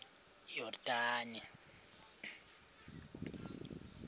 yordane